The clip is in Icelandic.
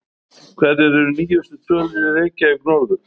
Hverjar eru nýjustu tölur í Reykjavík norður?